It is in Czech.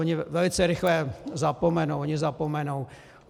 Oni velice rychle zapomenou, oni zapomenou.